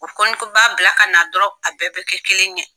U kɔni kun b'a bila ka na dɔrɔn , a bɛɛ bɛ kɛ kelen ye.